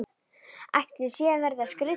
Ætli ég sé að verða skrýtin.